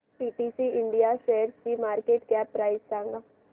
PTC India शेअरची market cap price सांगा